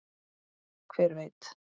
Hver veit?